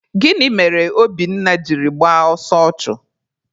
Gịnị mere Obinna jiri gbaa ọsọ ọchụ?